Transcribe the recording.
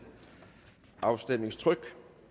afstemningstryk